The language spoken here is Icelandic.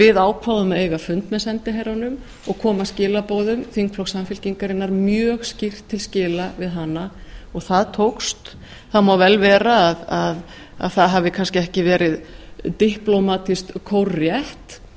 við ákváðum að eiga fund með sendiherranum og koma skilaboðum þingflokks samfylkingarinnar mjög skýrt til skila við hana og það tókst það mál vel vera að það hafi kannski ekki verið diplómatískt kórrétt